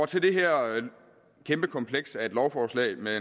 til det her kæmpe kompleks af et lovforslag med